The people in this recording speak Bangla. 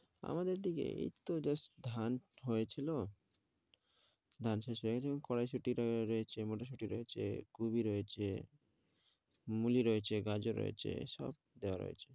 আমাদের দিকে এই তো just ধান হয়ে ছিল ধান শেষ হয়ে গেছে এখন কড়াইশুঁটি রয়েছে, মটরশুঁটি রয়েছে, কুবি রয়েছে মূলি রয়েছে, গাজর রয়েছে সব দেওয়া রয়েছে।